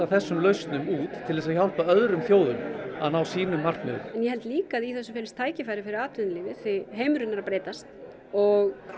þessum lausnum út til að hjálpa öðrum þjóðum að ná sínum markmiðum ég held líka að í þessu felist tækifæri fyrir atvinnulífið því heimurinn er að breytast og